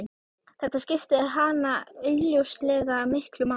Þetta skipti hana augljóslega miklu máli.